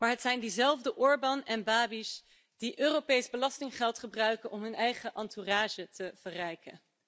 Het zijn echter diezelfde Orbán en Babiš die Europees belastinggeld gebruiken om hun eigen entourage te verrijken.